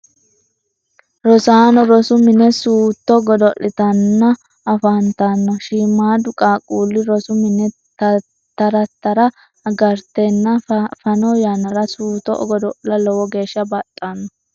rosaano rosu mine suutto godo'litanni afantanno. shiimaaddu qaaqqulli rosu mine tara tara agaratenni fano yannara suutto godo'la lowo geesha baxxanno.